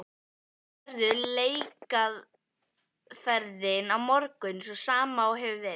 Verður leikaðferðin á morgun sú sama og hefur verið?